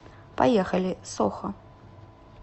поехали сохо